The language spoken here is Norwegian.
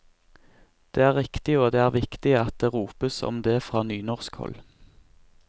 Det er riktig, og det er viktig at det ropes om det fra nynorskhold.